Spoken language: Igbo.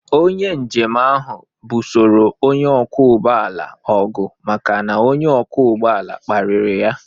Onye njem ahụ busoro onye ọkwọ ụgbọ ala ọgụ maka na onye ọkwọ ụgbọ ala kparịrị ya